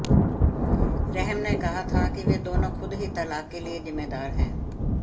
रेहम ने कहा था कि वे दोनों खुद ही तलाक के लिए जिम्मेदार हैं